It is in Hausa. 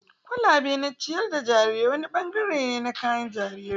kwalabe na ciyar da jarirai wani bangare ne na kayan jarirai.